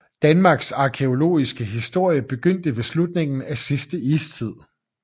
Danmarks arkæologiske historie begyndte ved slutningen af sidste istid